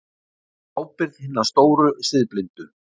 Á ábyrgð hinna stóru siðblindu.